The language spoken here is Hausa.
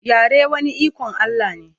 yare wani iKon Allah ne